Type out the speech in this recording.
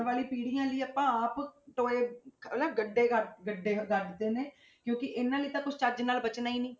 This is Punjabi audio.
ਆਉਣ ਵਾਲੀ ਪੀੜ੍ਹੀਆਂ ਲਈ ਆਪਾਂ ਆਪ ਟੋਏ, ਹਨਾ ਗੱਡੇ ਕਰ ਗੱਡੇ ਕਰ ਦਿੱਤੇ ਨੇ ਕਿਉਂਕਿ ਇਹਨਾਂ ਲਈ ਤਾਂ ਕੁਛ ਚੱਜ ਨਾਲ ਬਚਣਾ ਹੀ ਨੀ